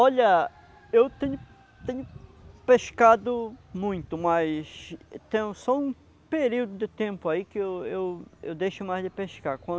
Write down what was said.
Olha, eu tenho tenho pescado muito, mas tem só um período de tempo aí que eu eu eu deixo mais de pescar, quando